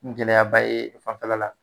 gɛlɛyaba ye fanfɛla la